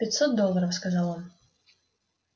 пятьсот долларов сказал он